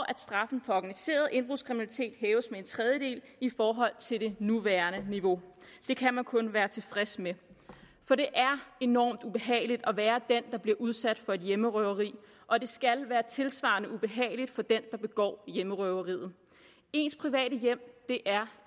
at straffen for organiseret indbrudskriminalitet hæves med en tredjedel i forhold til det nuværende niveau det kan man kun være tilfreds med for det er enormt ubehageligt at være den der bliver udsat for et hjemmerøveri og det skal være tilsvarende ubehageligt for den der begår hjemmerøveriet ens private hjem er